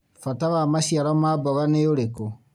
Bata wa maciaro ma mboga nĩ ũrĩkũ?